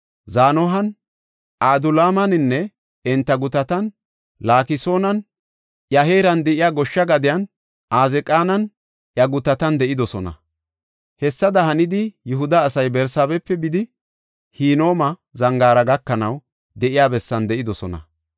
Zanohan, Adulaamaninne enta gutatan, Laakisoninne iya heeran de7iya goshsha gadiyan, Azeeqaninne iya gutatan de7idosona. Hessada hanidi Yihuda asay Barsaabepe bidi Hinooma Zangaara gakanaw de7iya bessan de7idosona.